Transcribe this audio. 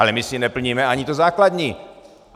Ale my si neplníme ani to základní.